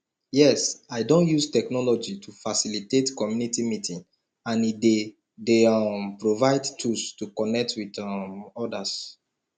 yes i don use technology to facilitate community meeting and e dey dey um provide tools to connect with um odas